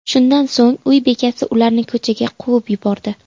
Shundan so‘ng uy bekasi ularni ko‘chaga quvib yubordi.